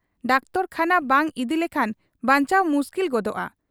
Doctor ᱠᱷᱟᱱᱟ ᱵᱟᱝ ᱤᱫᱤ ᱞᱮᱠᱷᱟᱱ ᱵᱟᱧᱪᱟᱣ ᱢᱩᱥᱠᱤᱞ ᱜᱚᱫᱚᱜ ᱟ ᱾